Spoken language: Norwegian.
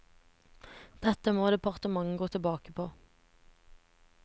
Dette må departementet gå tilbake på.